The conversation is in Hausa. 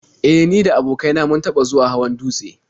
E, ni da abokain na mun taɓa zuwa hawan dutse.